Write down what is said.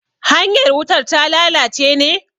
hanyar wutar ta lalace ne?